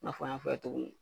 N'a fɔ an y'a fɔ a ye cogo min